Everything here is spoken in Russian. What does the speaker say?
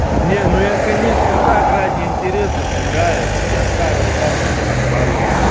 не ну я конечно так ради интереса сыграю я старую карту сейчас добавлю